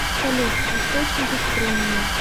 салют источники струнные